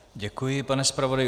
Děkuji, pane zpravodaji.